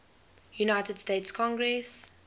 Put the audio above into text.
united states congress